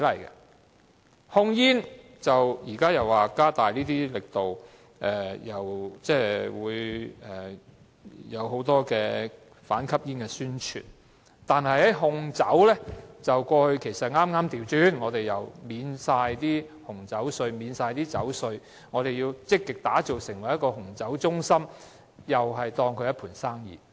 政府現時表示要加大控煙力度，因此推出很多反吸煙宣傳，但在控酒方面卻恰恰相反，見諸於政府不久前豁免紅酒稅和酒稅，以期積極地將香港打造成為紅酒中心，把紅酒視為一盤生意。